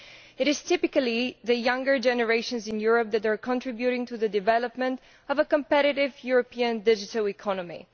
It is typically the younger generations in Europe that are contributing to the development of a competitive European digital economy.